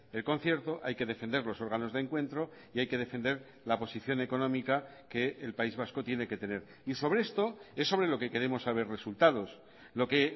el concierto hay que defender los órganos de encuentro y hay que defender la posición económica que el país vasco tiene que tener y sobre esto es sobre lo que queremos saber resultados lo que